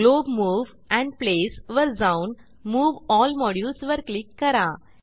glove move and Placeवर जाऊन move L modules वर क्लिक करा